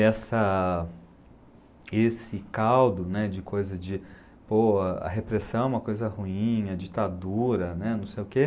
Essa esse caldo né, de coisa de... Pô, a repressão é uma coisa ruim, a ditadura né, não sei o quê.